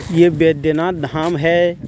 ये बैदनाथ धाम है.